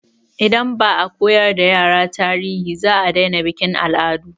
Idan ba a koyar da yara tarihi, za a daina bikin al'adu.